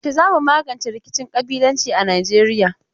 Yaushe za mu magance rikicin ƙabilanci a Nijeiya?